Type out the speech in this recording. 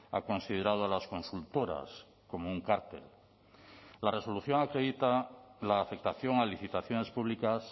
ha considerado las consultoras como un cártel la resolución acredita la afectación a licitaciones públicas